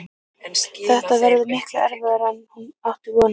Þetta verður miklu erfiðara en hún átti von á.